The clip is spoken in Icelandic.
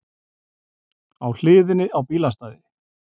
Á hliðinni á bílastæði